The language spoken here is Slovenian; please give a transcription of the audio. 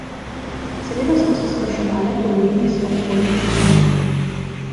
Seveda smo se spraševale po imenih svojih bodočih mož.